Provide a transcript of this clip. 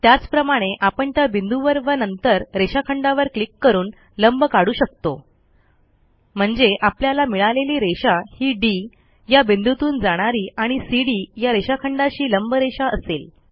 त्याचप्रमाणे आपण त्या बिंदूवर व नंतर रेषाखंडावर क्लिक करून लंब काढू शकतो म्हणजे आपल्याला मिळालेली रेषा ही डी या बिंदूतून जाणारी आणि सीडी या रेषाखंडाशी लंबरेषा असेल